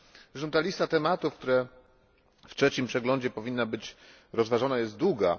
Zresztą ta lista tematów, które w trzecim przeglądzie powinny być rozważone, jest długa.